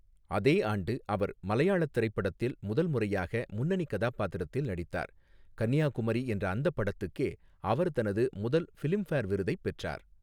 அதே ஆண்டு அவர் மலையாளத் திரைப்படத்தில் முதல் முறையாக முன்னணிக் கதாபாத்திரத்தில் நடித்தார், 'கன்னியாகுமரி' என்ற அந்தப் படத்துக்கே அவர் தனது முதல் ஃபிலிம்ஃபேர் விருதைப் பெற்றார்.